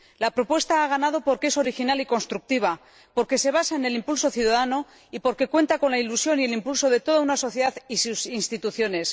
La propuesta ha ganado porque es original y constructiva, porque se basa en el impulso ciudadano y porque cuenta con la ilusión y el impulso de toda una sociedad y sus instituciones.